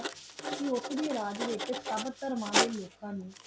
T ਉਸ ਡੀ ਰਾਜ ਵੇਚ ਸਬ ਤੇਰ੍ਮਾਂ ਡੀ ਲੁਕਾ ਨੂ